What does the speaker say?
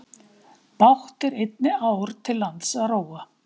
Bágt er einni ár til lands að róa.